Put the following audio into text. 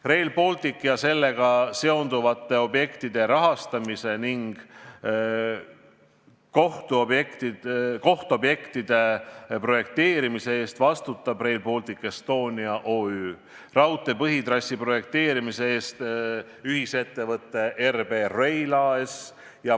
Rail Baltic ja sellega seonduvate objektide rahastamise ning kohtobjektide projekteerimise eest vastutab Rail Baltic Estonia OÜ ja raudtee põhitrassi projekteerimise eest ühisettevõte RB Rail AS.